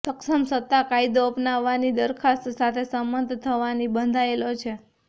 સક્ષમ સત્તા કાયદો અપનાવવાની દરખાસ્ત સાથે સંમત થવાની બંધાયેલો છે